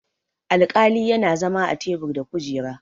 alƙali yana zama a tebur da kujera